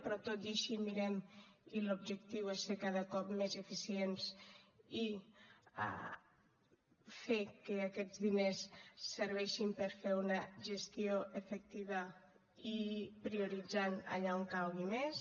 però tot i així mirem i l’objectiu és ser cada cop més eficients i fer que aquests diners serveixin per a fer una gestió efectiva i prioritzar allà on calgui més